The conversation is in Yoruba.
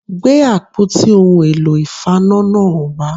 Gbé àpótí ohun èlò ìfaná náà wá